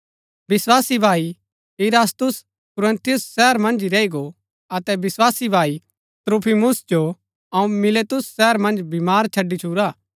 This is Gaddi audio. विस्वासी भाई इरास्तुस कुरिन्थुस शहर मन्ज ही रैई गो अतै विस्वासी भाई त्रुफिमुस जो अऊँ मीलेतुस शहर मन्ज बीमार छड़ी छुरा